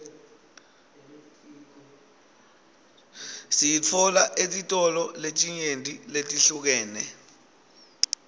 siyitfola etitolo letinyenti letihlukene